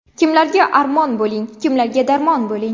Kimlarga armon bo‘lding, Kimlarga darmon bo‘lding.